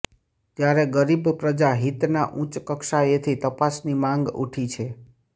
ત્યારે ગરીબ પ્રજા હિતના ઉચ્ચ કક્ષાએથી તપાસની માંગ ઉઠી છે